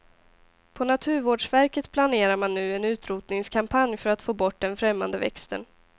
På naturvårdsverket planerar man nu en utrotningskampanj för att få bort den främmande växten.